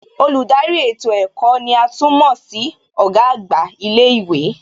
Olùdarí ètò ẹ̀kọ́ ní à tún mọ̀ sí Ọ̀gá àgbà ilé ìwé